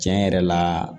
Tiɲɛ yɛrɛ la